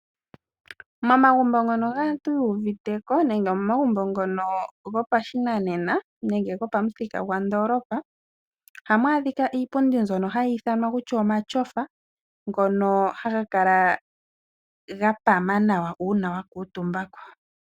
Momagumbo gopamuthika gwa ndoolopa ohamu adhika iipundi mbyono hai ithanwa omatyofa ngono haga kala ga pama nawa uuna wa kuutumba ko.